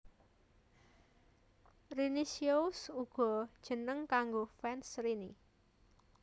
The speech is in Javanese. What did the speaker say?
Rinicious uga jeneng kanggo fans Rini